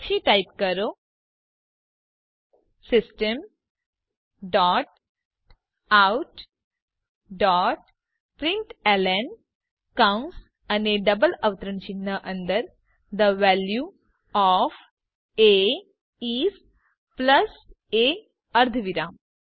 પછી ટાઇપ કરો system dot out dot println કૌંસ અને ડબલ અવતરણ ચિહ્ન અંદર the value of a is plus a અર્ધવિરામ